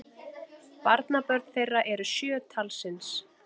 Barnabörn þeirra eru sjö talsins